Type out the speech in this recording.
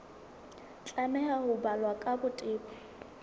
tlameha ho balwa ka botebo